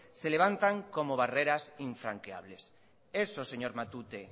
se levantan como barreras infranqueables señor matute